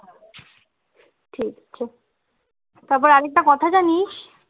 ঠিক আছে তারপর আর একটা কথা জানিস